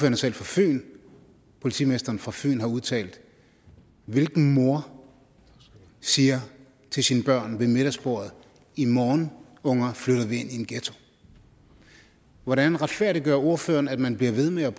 er selv fra fyn politimesteren fra fyn har udtalt hvilken mor siger til sine børn ved middagsbordet i morgen unger flytter vi ind i en ghetto hvordan retfærdiggør ordføreren at man bliver ved med at